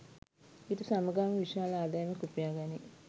ඊට සමගාමීව විශාල ආදායමක් උපයාගනී.